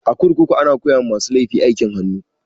A kurkuku ana koya ma masu laifi aikin hannu